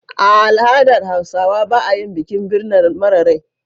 A al'adar Hausawa ba a yin bikin birma mara rai.